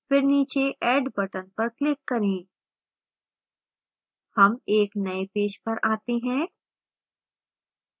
फिर नीचे add button पर click करें